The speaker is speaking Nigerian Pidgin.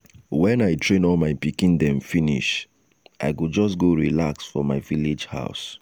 wen i train all my pikin dem finish i go just go relax for my village house.